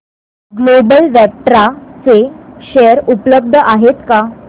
global Vectra चे share उपलब्ध आहेत का